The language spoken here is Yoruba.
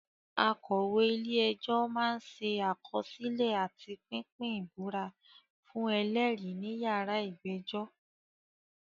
Akọ̀wé-ilé-ẹjọ́ máa ń ṣe àkọsílẹ̀ àti pínpín ìbúra fún ẹlẹ́rìí níyàrá ìgbẹ́jọ́.